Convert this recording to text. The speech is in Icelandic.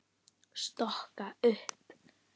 Stokka upp.